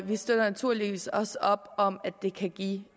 vi støtter naturligvis også op om at det kan give